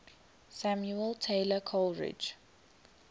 samuel taylor coleridge